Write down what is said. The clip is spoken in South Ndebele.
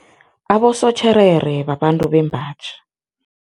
Abosotjherere babantu bembaji.